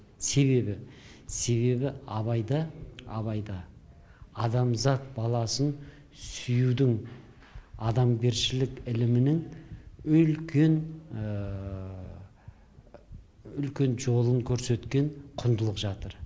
себебі себебі абайда абайда адамзат баласын сүюдің адамгершілік ілімінің үлкен үлкен жолын көрсеткен құндылық жатыр